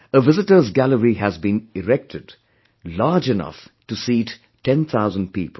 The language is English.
A visitors' gallery has been erected, large enough to seat 10 thousand people